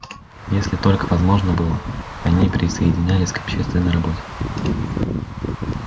если только возможно было они присоединялись к общественной работе